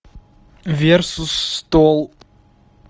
версус стол